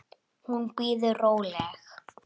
Hún bíður róleg.